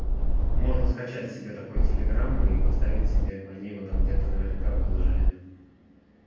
можно скачать себе такой телеграмм и поставить себе они его где-то там наверняка выложили